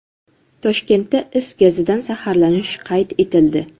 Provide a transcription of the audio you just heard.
Toshkentda is gazidan zaharlanish qayd etildi.